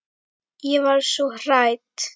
Ég var svo hrædd.